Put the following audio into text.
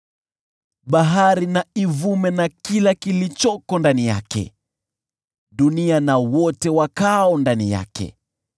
Bahari na ivume na kila kiliomo ndani yake, dunia na wote wakaao ndani yake.